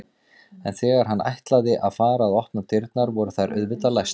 En þegar hann ætlaði að fara að opna dyrnar voru þær auðvitað læstar.